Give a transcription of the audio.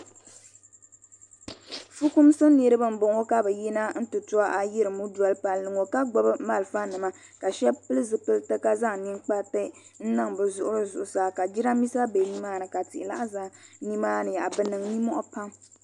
Fukumsi niriba m boŋɔ ka bɛ yina m ti to ayirimo n doli palli ŋɔ ka gbibi malfa nima ka sheba pili zipilti ka zaŋ ninkpariti n niŋ bi zuɣuri zuɣusaa ka jirambisa be nimaani ka tihi nan za nimaani bɛ niŋ ninmohi pam.